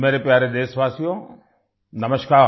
मेरे प्यारे देशवासियो नमस्कार